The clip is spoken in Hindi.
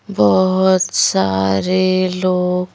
बहुत सारे लोग--